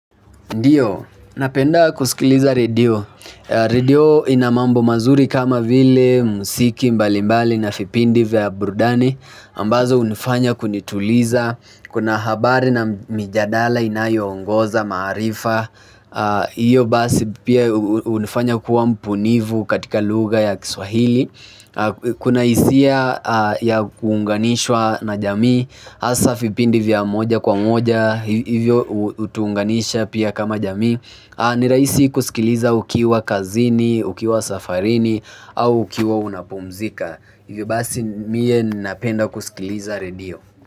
Ndiyo, napenda kusikiliza radio. Radio ina mambo mazuri kama vile muziki mbalimbali na vipindi vya burudani ambazo hunifanya kunituliza. Kuna habari na mijadala inayoongoza, maarifa. Hiyo basi pia hunifanya kuwa mbunifu katika lugha ya Kiswahili. Kuna hisia ya kuunganishwa na jamii, hasa vipindi vya moja kwa moja, hivyo hutuunganisha pia kama jamii ni rahisi kusikiliza ukiwa kazini, ukiwa safarini au ukiwa unapumzika. Hivyo basi mie napenda kusikiliza redio.